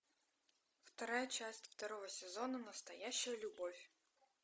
вторая часть второго сезона настоящая любовь